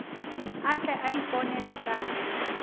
a tle a iponele ka